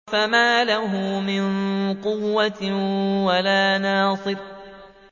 فَمَا لَهُ مِن قُوَّةٍ وَلَا نَاصِرٍ